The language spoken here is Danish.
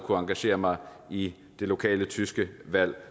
engagere mig i det lokale tyske valg